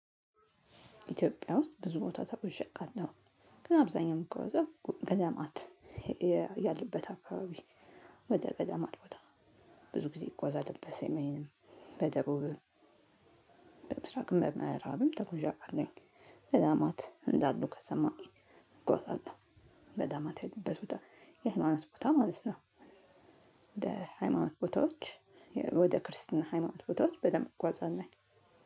ኢትዮጵያ ውስጥ ብዙ ቦታ ተጉዤ አውቃለሁ። ግን አብዛኛው ምጉአዘው ገደማት። ያለበት አካባቢ ወደ ገደማት ቦታ ብዙ ጊዜ እጓዛለሁ በሰሜንም በደቡብም። በምስራቅ በምዕራብም ተጉዥ አውቃለሁኝ። ገዳማት እንዳሉ ከሰማሁ እጉአዛለሁ ገዳማትያሉበት ቦታ ማለት ነው። ወደ ሃይማኖት ቦታዎች ወደ ክርስትና ሃይማኖት ቦታዎች በደንብ እጓዛለሁኝ።